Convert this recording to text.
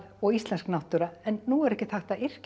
og íslensk náttúra en nú er ekkert hægt að yrkja